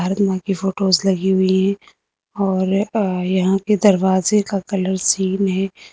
कि फोटोस लगी हुई है और यहां के दरवाजे का कलर सेम है।